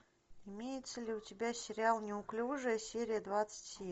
имеется ли у тебя сериал неуклюжая серия двадцать семь